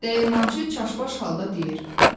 Dəyirmançı çaşbaş halda deyir: